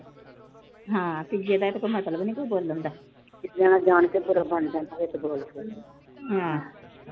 ਹਾਂ, ਤੀਜੇ ਦਾ ਕੋਈ ਹੱਕ ਵੀ ਨੀ ਬੋਲਣ ਦਾ। ਬੰਦਾ ਜਾਣ ਕੇ ਉਹ ਬਣ ਜਾਂਦਾ ਵਿੱਚ ਬੋਲ ਕੇ।